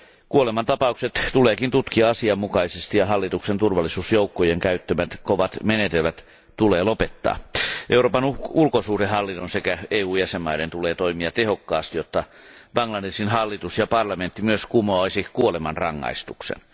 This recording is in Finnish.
Kuolemantapaukset tuleekin tutkia asianmukaisesti ja hallituksen turvallisuusjoukkojen käyttämät kovat menetelmät tulee lopettaa. Euroopan ulkosuhdehallinnon sekä EUn jäsenvaltioiden tulee toimia tehokkaasti, jotta Bangladeshin hallitus ja parlamentti myös kumoaisivat kuolemanrangaistuksen.